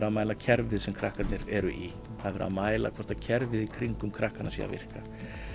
að mæla kerfið sem krakkarnir eru í það er verið að mæla hvort kerfið í kringum krakkana sé að virka